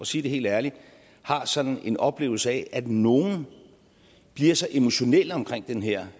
sige det helt ærligt har sådan en oplevelse af at nogle bliver så emotionelle omkring den her